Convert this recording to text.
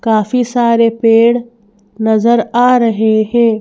काफी सारे पेड़ नजर आ रहे हैं।